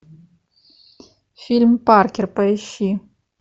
фильм паркер поищи